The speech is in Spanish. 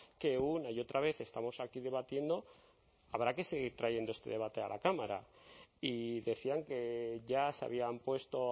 que una y otra vez estamos aquí debatiendo habrá que seguir trayendo este debate a la cámara y decían que ya se habían puesto